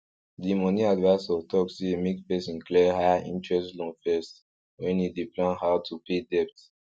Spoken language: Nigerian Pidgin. di moni advisor talk say make person clear high interest loan first when e dey plan how to pay debt